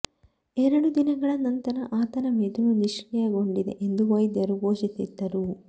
ಎರಡು ದಿನಗಳ ನಂತರ ಆತನ ಮೆದುಳು ನಿಷ್ಕ್ರಿಯಗೊಂಡಿದೆ ಎಂದು ವೈದ್ಯರು ಘೋಷಿಸಿದ್ದರು